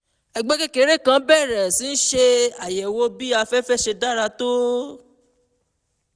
ẹgbẹ́ kékeré kan bẹ̀rẹ̀ sí ṣe àyẹ̀wò bí afẹ́fẹ́ ṣe dára tó